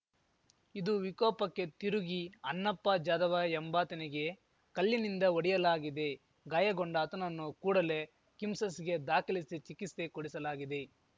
ಇದು ವಿಕೋಪಕ್ಕೆ ತಿರುಗಿ ಅನ್ನಪ್ಪ ಜಾಧವ ಎಂಬಾತನಿಗೆ ಕಲ್ಲಿನಿಂದ ಹೊಡೆಯಲಾಗಿದೆ ಗಾಯಗೊಂಡ ಆತನನ್ನು ಕೂಡಲೇ ಕಿಮ್ಸ್‌ಸ್ ಗೆ ದಾಖಲಿಸಿ ಚಿಕಿತ್ಸೆ ಕೊಡಿಸಲಾಗಿದೆ